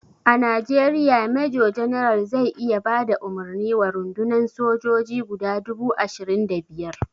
A najeriya major general zai iya bada umarni wa rundunan sojoji guda dubu ashirin da biyar